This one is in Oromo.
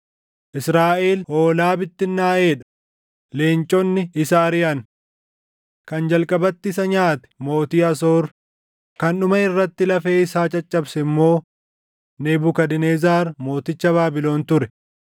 “Israaʼel hoolaa bittinnaaʼee dha; leenconni isa ariʼan. Kan jalqabatti isa nyaate mootii Asoor; kan dhuma irratti lafee isaa caccabse immoo Nebukadnezar mooticha Baabilon ture.”